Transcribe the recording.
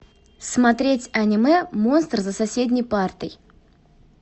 смотреть аниме монстр за соседней партой